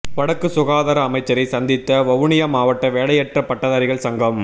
வடக்கு சுகாதார அமைச்சரை சந்தித்த வவுனியா மாவட்ட வேலையற்ற பட்டதாரிகள் சங்கம்